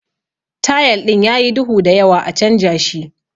Tayal din yayi duhu da yawa, a chanja shi.